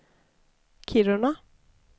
Kiruna